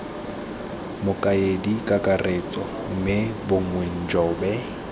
mokaedi kakaretso mme bongiwe njobe